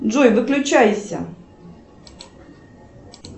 джой выключайся